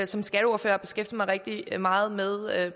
som skatteordfører beskæftiger mig rigtig meget med